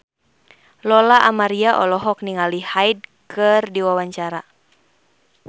Lola Amaria olohok ningali Hyde keur diwawancara